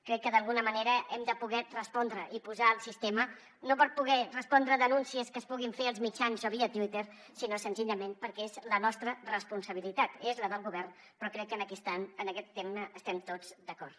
crec que d’alguna manera hem de poder respondre i posar el sistema no per poder respondre denúncies que es puguin fer als mitjans o via twitter sinó senzillament perquè és la nostra responsabilitat és la del govern però crec que en aquest tema estem tots d’acord